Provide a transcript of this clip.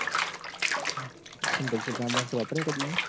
ચમ